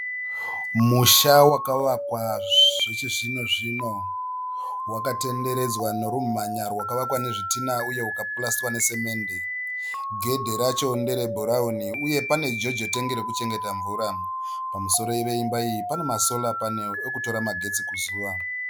Musha wakavakwa zvechizvino zvino wakatenderedzwa norumhanya rwakavakwa nezvidhina uye ukapurasitwa nesemende. Gedhi racho nderebhurauni uye pane jojo tengi rekuchengeta mvura. Pamusoro peimba iyi pane masora panero ekutora magetsi kuzuva.